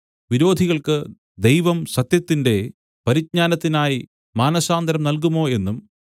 വിരോധികൾക്കു ദൈവം സത്യത്തിന്റെ പരിജ്ഞാനത്തിനായി മാനസാന്തരം നല്കുമോ എന്നും